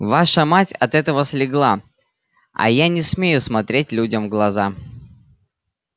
ваша мать от этого слегла а я не смею смотреть людям в глаза